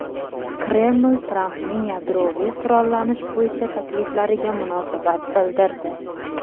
Kreml Trampning yadroviy qurollanish bo‘yicha takliflariga munosabat bildirdi.